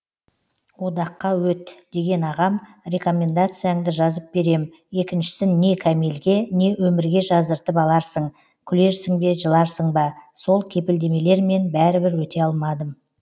одаққа өт деген ағам рекемондацияңды жазып берем екіншісін не кәмелге не өмірге жаздыртып аларсың күлерсің бе жыларсың ба сол кепілдемелермен бәрібір өте алмадым